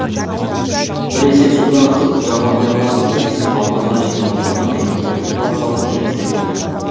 біресе суды ағызып жаба алмай қалатын біресе болконда жинаулы тұрған әйнектерді құлатып алатын кездер болды